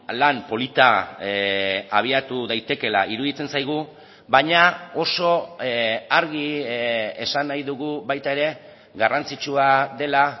lan polita abiatu daitekeela iruditzen zaigu baina oso argi esan nahi dugu baita ere garrantzitsua dela